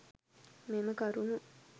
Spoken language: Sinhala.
මෙම කරුණු